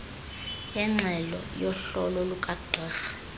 yengxelo yohlolo lukagqirha